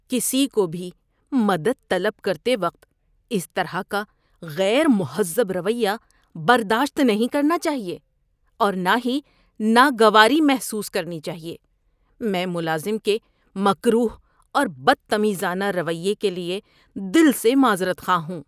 ‏کسی کو بھی مدد طلب کرتے وقت اس طرح کا غیر مہذب رویہ برداشت نہیں کرنا چاہیے اور نہ ہی ناگواری محسوس کرنی چاہیے۔ میں ملازم کے مکروہ اور بدتمیزانہ رویے کے لیے دل سے معذرت خواہ ہوں۔